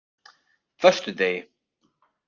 föstudegi